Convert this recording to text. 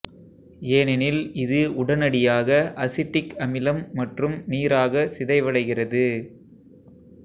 ஏனெனில் இது உடனடியாக அசிட்டிக் அமிலம் மற்றும் நீராக சிதைவடைகிறது